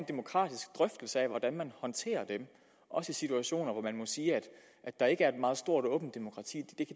demokratisk drøftelse af hvordan man håndterer dem også situationer hvor man må sige at der ikke er et meget stort åbent demokrati